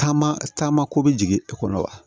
Taama taama ko be jigin i kɔnɔ wa